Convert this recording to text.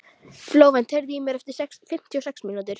Flóvent, heyrðu í mér eftir fimmtíu og sex mínútur.